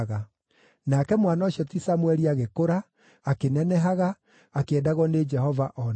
Nake mwana ũcio ti Samũeli agĩkũra, akĩnenehaga, akĩendagwo nĩ Jehova o na andũ.